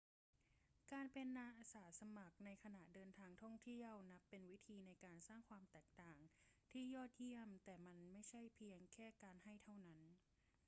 การเป็นอาสาสมัครในขณะเดินทางท่องเที่ยวนับเป็นวิธีในการสร้างความแตกต่างที่ยอดเยี่ยม แต่มันไม่ใช่เพียงแค่การให้เท่านั้น